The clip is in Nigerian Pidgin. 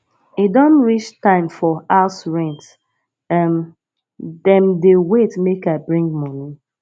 e don reach time for house rent um dem dey wait make i bring moni